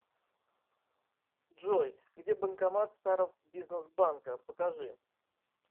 джой где банкомат саровбизнесбанка покажи